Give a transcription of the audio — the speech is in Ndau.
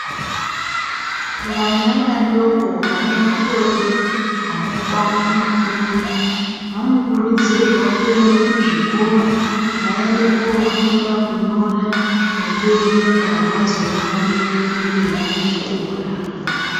Vana vadoko vane makore anokwana makumi ,vanokurudzirwa kuende kuzvikora vaende kofunda kunyora nekuerenga ,kuti vazoona kuenderere mberi nechikora.